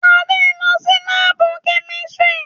Ade n lọ si laabu kemistri